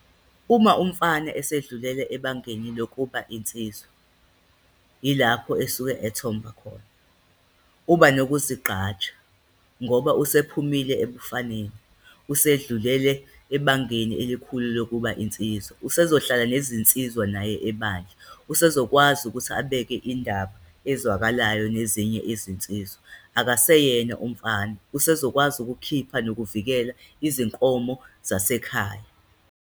Uma umfana esedlulele ebangeni lokuba insizwa, ilapho esuke ethomba khona. Uba nokuzigqaja ngoba usephumile ebufaneni, usedlulele ebangeni elikhulu lokuba insizwa, usezohlala nezinsizwa naye ebandla. Usezokwazi ukuthi abeke indaba ezwakalayo nezinye izinsizwa, akaseyena umfana, usezokwazi ukukhipha nokuvikela izinkomo zasekhaya.